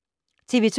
TV 2